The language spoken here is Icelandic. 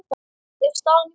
er staðan í mótinu.